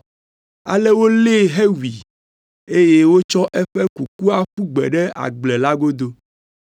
Ale wolée hewui, eye wotsɔ eƒe kukua ƒu gbe ɖe agble la godo.